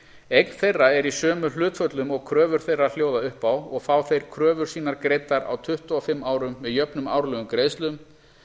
eign þeirra er í sömu hlutföllum og kröfur þeirra hljóða upp á og fá þeir kröfur sínar greiddar á tuttugu og fimm árum með jöfnum árlegum greiðslum